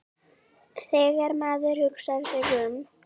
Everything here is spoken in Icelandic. Þegar maður hugsar sig um.